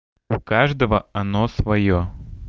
у каждого оно своё